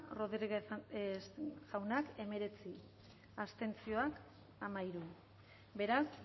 rodríguez jauna emeretzi abstenzioak amairu beraz